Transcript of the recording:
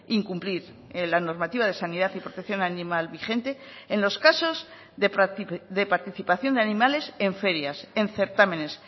incumplir la normativa de sanidad y protección animal vigente en los casos de participación de animales en ferias en certámenes